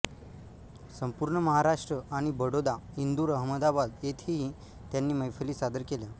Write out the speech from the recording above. संपूर्ण महाराष्ट्र आणि बडोदा इंदूर अहमदाबाद येथेही त्यांनी मैफली सादर केल्या